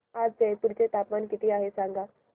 आज जयपूर चे तापमान किती आहे सांगा